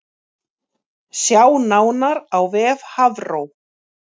Sjá nánar á vef Hafró